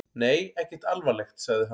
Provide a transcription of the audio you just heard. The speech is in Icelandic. Nei, ekkert alvarlegt, sagði hann.